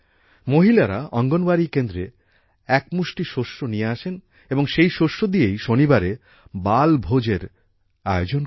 মহিলারা অঙ্গনওয়াড়ী কেন্দ্রে এক মুষ্টি শস্য নিয়ে আসেন এবং সেই শস্য দিয়েই শনিবারে বালভোজ এর আয়োজন করা হয়